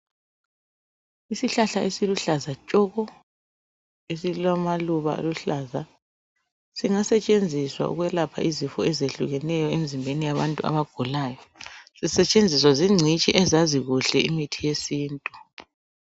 Isihlahla esiluhlaza tshoko esilamaluba aluhlaza singasetshenziswa ukwelapha izifo ezehlukeneyo emzimbeni yabantu abagulayo, zisetshenziswa zincitshi ezazi kuhle imithi yesintu.